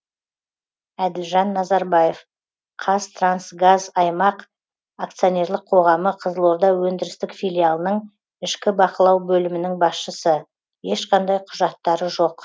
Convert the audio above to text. әділжан назарбаев қазтрансгазаймақ акционерлік қоғамы қызылорда өндірістік филиалының ішкі бақылау бөлімінің басшысы ешқандай құжаттары жоқ